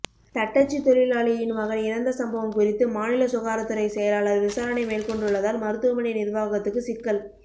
தட்டச்சு தொழிலாளியின் மகன் இறந்த சம்பவம் குறித்து மாநில சுகாதாரத்துறை செயலாளர் விசாரணை மேற்கொண்டுள்ளதால் மருத்துவமனை நிர்வாகத்துக்கு சிக்கல்